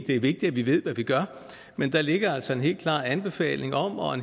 det er vigtigt at vi ved hvad vi gør men der ligger altså en helt klar anbefaling og